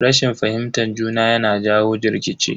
Rashin fahimtar juna yana jawo rikici.